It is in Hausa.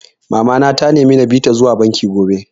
Mama na ta nemi na bi ta zuwa banki gobe